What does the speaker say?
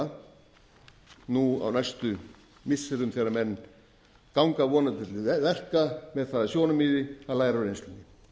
kirfilega nú á næstu missirum þegar menn ganga vonandi til verka með það að sjónarmiði að læra af reynslunni